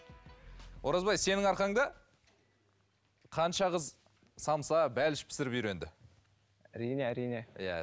оразбай сенің арқаңда қанша қыз самса бәліш пісіріп үйренді әрине әрине иә